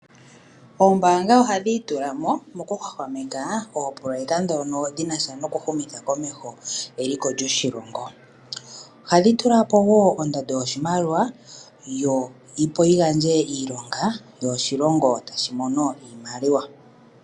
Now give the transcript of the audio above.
Oombaanga ohadhi itula mo okuhwahwameka oopoloyeka dhono dhinasha noku humitha komeho eliko lyoshilongo, ohadhi tula po wo ondando yoshimaliwa yo opo yi gandje iilonga yo oshilongo tashi mono iimaliwa.